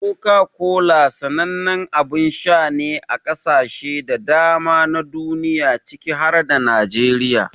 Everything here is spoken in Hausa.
Coca-Cola sanannen abin sha ne a kasashe da dama na duniya ciki har da Najeriya.